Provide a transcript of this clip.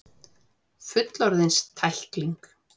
Fullorðins tækling.